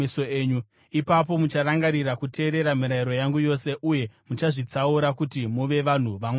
Ipapo mucharangarira kuteerera mirayiro yangu yose uye muchazvitsaura kuti muve vanhu vaMwari wenyu.